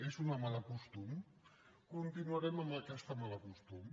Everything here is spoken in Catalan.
és un mal costum continuarem amb aquest mal costum